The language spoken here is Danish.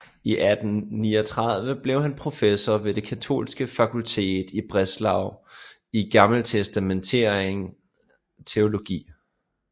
I 1839 blev han professor ved det katolske fakultet i Breslau i gammeltestamentlig teologi